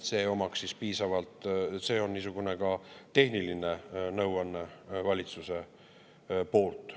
See on ka niisugune tehniline nõuanne valitsuse poolt.